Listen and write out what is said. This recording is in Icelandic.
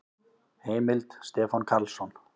Heimild: Stefán Karlsson.